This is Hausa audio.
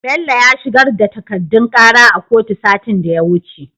Bello ya shigar da takadun kara a kotu satin da ya wuce